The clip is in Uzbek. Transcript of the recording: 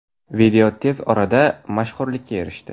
Video tez orada mashhurlikka erishdi.